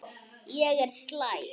Ég er slæg.